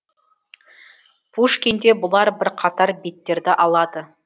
пушкинде бұлар бірқатар беттерді алады